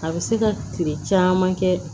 A bɛ se ka kile caman kɛ